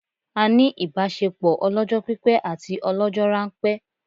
A ní ìbásepọ̀ ọlọ́jọ́ pípẹ́ àti ọlọ́jọ́ ránpẹ́